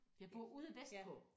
Jeg bor ude vestpå